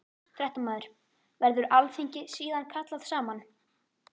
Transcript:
Fréttamaður: Verður alþingi síðan kallað saman?